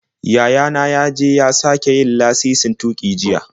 Yaya na ya je ya sake yin lasisin tuƙi jiya.